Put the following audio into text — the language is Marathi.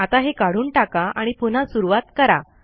आता हे काढून टाका आणि पुन्हा सुरूवात करा